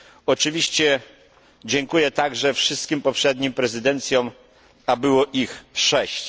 Oczywiście dziękuję także wszystkim poprzednim prezydencjom, a było ich sześć.